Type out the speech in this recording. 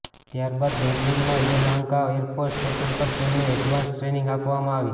ત્યારબાદ બેંગલુરુના Yelahanka air force station પર તેમને એડવાન્સ ટ્રેનિંગ આપવામાં આવી